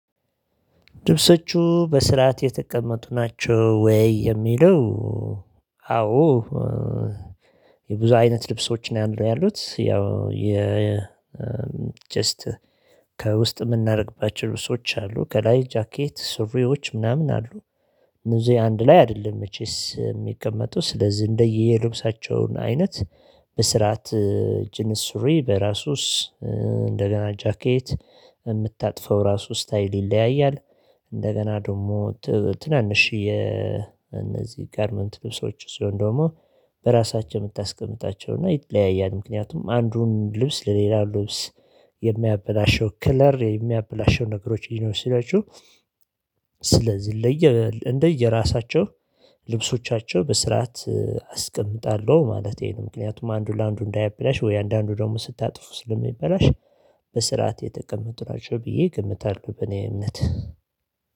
ልብሶቹ በስርዓት የተቀመጡ ናቸው ወይ የሚለው? አዎ የብዙ አይነት ልብሶች ነው ያሉት ያው የ ጀስት ከውስጥ የምናደርግባቸው ልብሶች አሉ ከላይ ጃኬት ሱሪዎች ምናምን አሉ። እነዚህ አንድ ላይ አይደለም መቼስ የሚቀመጡ ስለዚህ እንደየልብሳቸውን አይነት በስርዓት ጅንስ ሱሪ ሪ በራሱ እንደገና ጃኬት የምታጥፈው ራሱ ስታይል ይለያያል። እንደገና ደግሞ ትናንሽ የእነዚህ ጋርመንት ልብሶች ሲሆን ደግሞ በራሳቸው የምታስቀምጣቸው እና ይለያያል ምክንያቱም አንዱን ልብስ ለሌላ ልብስ የሚያበላሸው ክለር የሚያበላሸው ነገሮች ሊኖሩ ስለሚችሉ። ስለዚህ ለየ እንደየራሳቸው ልብሶቻቸው በስርዓት አስቀምጣለሁ ማለት ይሄ ነው። ምክንያቱም አንዱ ለአንዱ እንዳይበላሽ ወይ አንዳንዱ ደግሞ ስታጥፉ ስለሚበላሽ በስርዓት የተቀመጡ ናቸው ብዬ እገምታለሁ። በእኔ እምነት